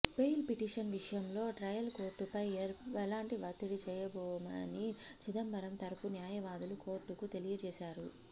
bail petition విషయంలో trial కోర్టుపై ఎలాంటి ఒత్తిడి చేయబోమని చిదంబరం తరఫు న్యాయవాదులు కోర్టుకు తెలియజేశారు